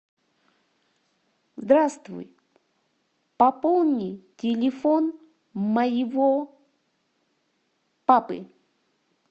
здравствуй пополни телефон моего папы